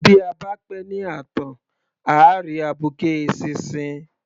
Bí a bá pẹ́ ní ààtàn à á rí abuké eṣinṣin.